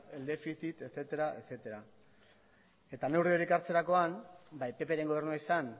del déficit etcétera etcétera eta neuri horiek hartzerakoan bai ppren gobernua izan